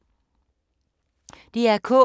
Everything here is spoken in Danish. DR K